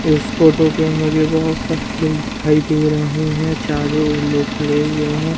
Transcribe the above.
इस फोटो पे मुझे बहोत सारे लोग दिखाई दे रहे हैं चारों लोग खड़े हुए हैं।